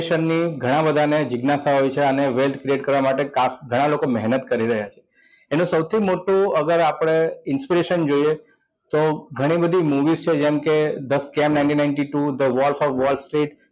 ઘણા બધા ને જીજ્ઞાસા છે wealth create કરવા માટે ઘણા લોકો મહેનત કરી રહ્યા છે એનું સૌથી મોટું અગર આપણે inspiration જોઈએ તો ઘણી બધી movies છે જેમ કે the scam ninety ninety-two the wolf of wall street